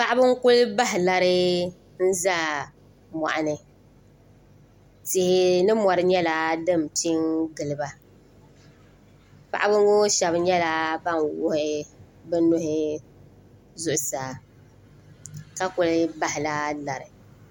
paɣba n kuli bahi lara n zaa moɣini tihi ni mori nyɛla din pɛ. n giliba paɣba ŋɔ shɛbi nyɛla ban wuɣ' be nuhi zuɣ saa ka kuli bahila lara